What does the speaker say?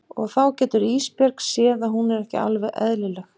Og þá getur Ísbjörg séð að hún er ekki alveg eðlileg.